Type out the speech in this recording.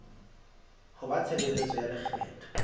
ho ba tshebeletso ya lekgetho